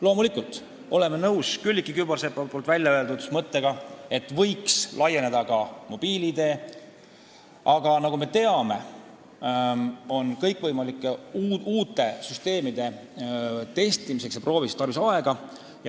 Loomulikult oleme nõus Külliki Kübarsepa mõttega, et võiks laiendada ka mobiil-ID kasutamist, aga nagu me teame, kõikvõimalike uute süsteemide testimiseks, proovimiseks on tarvis aega.